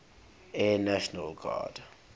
air national guard